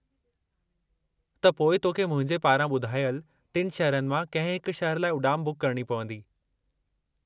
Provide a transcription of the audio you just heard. त पोइ तोखे मुंहिंजे पारां ॿुधायलु टिनि शहरनि मां कंहिं हिक शहरु लाइ उॾाम बुक करणी पवंदी।